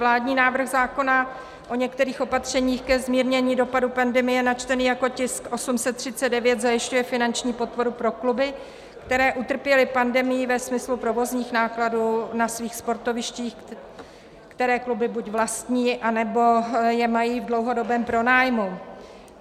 Vládní návrh zákona o některých opatřeních ke zmírnění dopadů pandemie načtený jako tisk 839 zajišťuje finanční podporu pro kluby, které utrpěly pandemií ve smyslu provozních nákladů na svých sportovištích, které kluby buď vlastní, nebo je mají v dlouhodobém pronájmu.